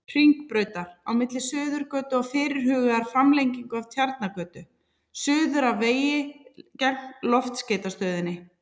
Hringbrautar, á milli Suðurgötu og fyrirhugaðrar framlengingu af Tjarnargötu, suður að vegi gegnt Loftskeytastöðinni.